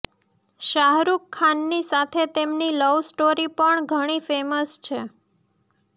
શાહરૂખની સાથે તેમની love story પણ ઘણી ફેમસ છે